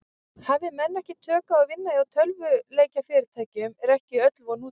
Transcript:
Hafi menn ekki tök á að vinna hjá tölvuleikjafyrirtækjum er ekki öll von úti.